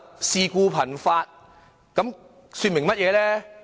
事故頻發，說明了甚麼？